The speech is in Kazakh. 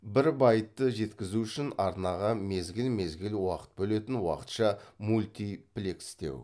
бір байтты жеткізу үшін арнаға мезгіл мезгіл уақыт бөлетін уақытша мультиплекстеу